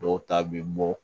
Dɔw ta bɛ bɔ